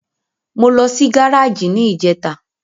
Mo lọ sí gáràjì ní ìjẹta.